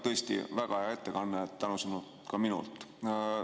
Tõesti väga hea ettekanne, tänusõnad ka minult.